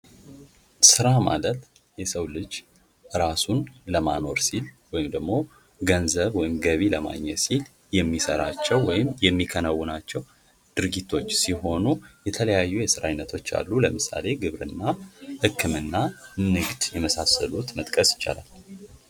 ስራ ማለት የሰው ልጅ ራሱን ለማኖር ሲል ወይም ደግሞ ገንዘብ ወይም ገቢ ለማግኘት ሲል የሚሰራቸው ወይም የሚያከናውናቸው ድርጊቶች ሲሆን ፤ የተለያዩ የስራ አይነቶች አሉ ለምሳሌ ግብርና፥ ህክምና፥ ንግድ የመሳሰሉትን መጥቀስ ይቻላል።